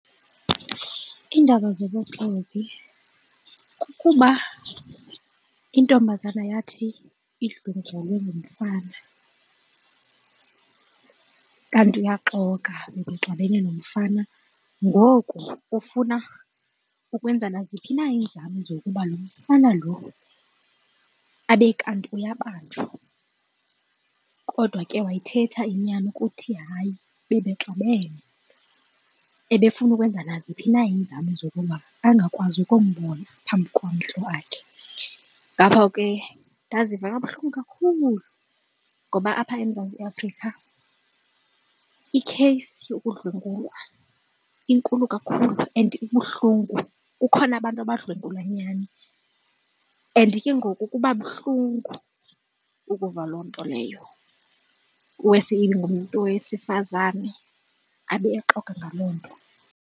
Iindaba zobuxoki kukuba intombazana yathi idlwengulwe ngumfana kanti uyaxoka ebexabene nomfana. Ngoku ufuna ukwenza naziphi na iinzame zokuba lo mfana loo abe kanti uyabanjwa kodwa ke wayithetha inyani ukuthi hayi bebexabene, ebefuna ukwenza naziphi na iinzame zokuba angakwazi ukumbona phambi kwamehlo akhe. Ngapho ke ndaziva kabuhlungu kakhulu ngoba apha eMzantsi Afrika ikheyisi yokudlwengulwa inkulu kakhulu and ibuhlungu kukhona abantu abadlwengulwa nyhani and ke ngoku kuba buhlungu ukuva loo nto leyo, worse ingumntu wesifazane abe exoka ngaloo nto.